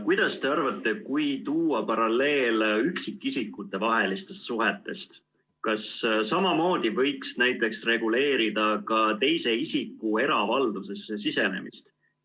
Kuidas te arvate, kui tuua paralleel üksikisikute vahelistest suhetest, kas samamoodi võiks näiteks reguleerida ka teise isiku eravaldusesse sisenemist?